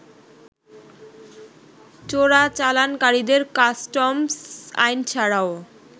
চোরাচালানকারীদের customs আইন ছাড়াও